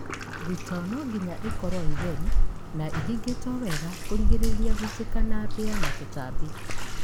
Thitoo nũmũhaka ĩkorwo ĩtheru na ĩhingĩtwo wega kũgirĩrĩria gũitĩka na mbĩa na tũtambi.